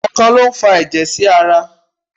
Ọkàn lo n fà ẹjẹ sí ará